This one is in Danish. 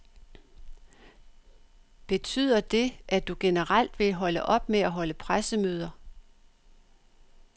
Betyder det, at du generelt vil holde op med at holde pressemøder.